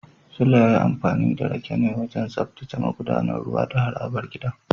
Suleiman ya yi amfani da rake ne wajen tsaftace magudanar ruwa da harabar gidan